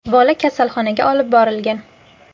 Bola kasalxonaga olib borilgan.